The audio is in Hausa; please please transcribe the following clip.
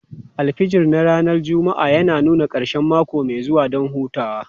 Alfijir na ranar Juma'a yana nuna ƙarshen mako mai zuwa don hutawa.